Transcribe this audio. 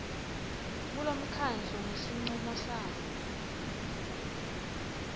kulomkhandlu ngesincumo sawo